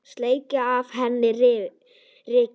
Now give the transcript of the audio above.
Sleikja af henni rykið.